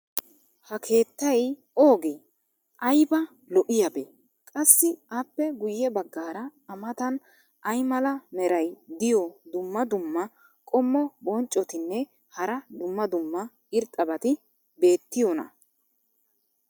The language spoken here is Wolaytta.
ha keettay oogee ? ayba lo'iyaabee? qassi appe guye bagaara a matan ay mala meray diyo dumma dumma qommo bonccotinne hara dumma dumma irxxabati beetiyoonaa?